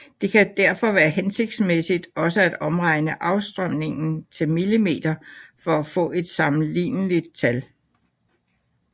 Det kan derfor være hensigtsmæssigt også at omregne afstrømningen til mm for at få et sammenligneligt tal